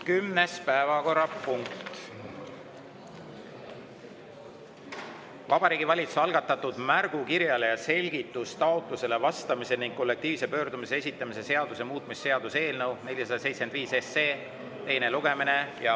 Kümnes päevakorrapunkt: Vabariigi Valitsuse algatatud märgukirjale ja selgitustaotlusele vastamise ning kollektiivse pöördumise esitamise seaduse muutmise seaduse eelnõu 475 teine lugemine.